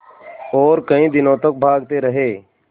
और कई दिनों तक भागते रहे